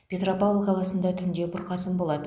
петропавл қаласында түнде бұрқасын болады